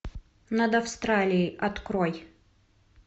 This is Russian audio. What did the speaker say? над австралией открой